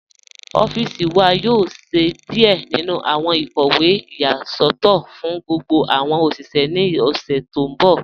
Ọffíṣì wà yóò ṣẹ̀ díẹ̀ nínu awọn ikọwe iyasọtọ fún gbogbo awọn oṣiṣẹ̀ ní ọṣẹ̀ tí n bọ̀.